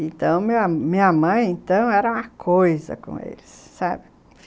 Então, minha mãe era uma coisa com eles, sabe?